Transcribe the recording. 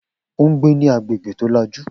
O n gbé ní agbègbè tó làjú